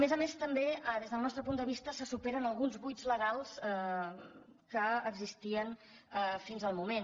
a més a més també des del nostre punt de vista se superen alguns buits legals que existien fins al moment